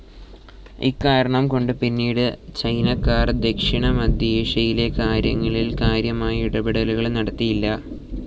ഇക്കാരണം കൊണ്ട് പിന്നീട് ചൈനാക്കാർ ദക്ഷിണമധ്യേഷ്യയിലെ കാര്യങ്ങളിൽ കാര്യമായ ഇടപെടലുകൾ നടത്തിയില്ല.